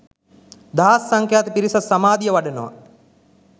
දහස් සංඛ්‍යාත පිරිසක් සමාධිය වඩනවා